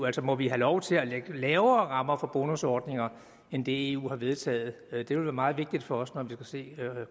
altså må vi have lov til at lægge lavere rammer for bonusordninger end det eu har vedtaget det vil være meget vigtigt for os når vi skal se